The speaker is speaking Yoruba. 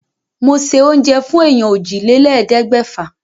Mo se oúnjẹ fún èèyàn òjìlélẹ́ẹ̀ẹ́dẹ́gbẹ́fà.